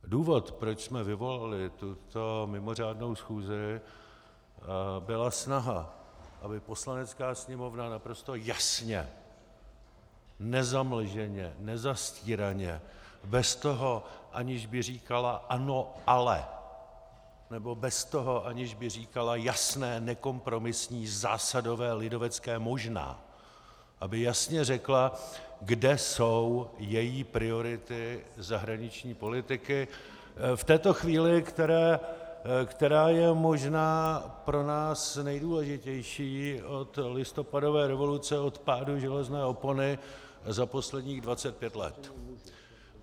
Důvod, proč jsme vyvolali tuto mimořádnou schůzi, byla snaha, aby Poslanecká sněmovna naprosto jasně, nezamlženě, nezastíraně, bez toho, aniž by říkala ano, ale - nebo bez toho, aniž by říkala jasné nekompromisní zásadové lidovecké možná , aby jasně řekla, kde jsou její priority zahraniční politiky v této chvíli, která je možná pro nás nejdůležitější od listopadové revoluce, od pádu železné opony za posledních 25 let.